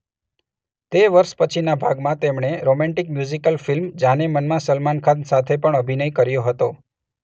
તે વર્ષના પછીના ભાગમાં તેમણે રોમેન્ટિક મ્યુઝિકલ ફિલ્મ જાનેમન માં સલમાન ખાન સાથે પણ અભિનય કર્યો હતો.